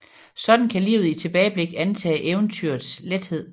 Sådan kan livet i tilbageblik antage eventyrets lethed